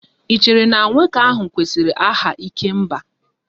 Ì chere na nwoke ahụ kwesịrị aha 'ikemba'?